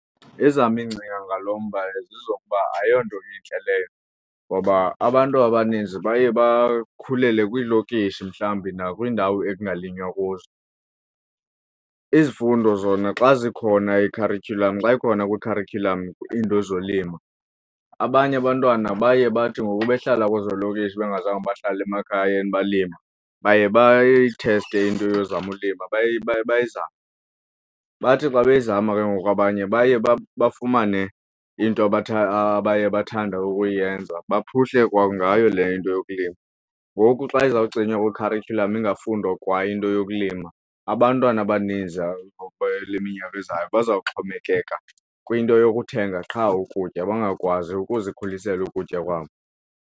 Ezam iingcinga ngalo mba zezokuba ayonto intle leyo ngoba abantu abaninzi baye bakhulele kwiilokishi mhlawumbi nakwiindawo ekungalinywa kuzo. Izifundo zona xa zikhona kwikharityhulam xa ikhona kwikharityhulam iinto zolimo abanye abantwana baye bathi ngoku behlala kwezo lokishi bengazange bahlala emakhayeni balima baye bayitheste into yokuzama ulima baye bayizame. Bathi xa beyizama ke ngoku abanye baye bafumane into abathe abaye bathanda ukuyenza baphuhle kwangayo le into yokulima. Ngoku xa izawucinywa kwikharityhulam ingafundwa kwa into yokulima abantwana abaninzi ale iminyaka ezayo baza kuxhomekeka kwinto yokuthenga qha ukutya bangakwazi ukuzikhulisela ukutya kwabo.